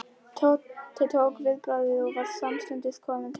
Tóti tók viðbragð og var samstundis kominn til hennar.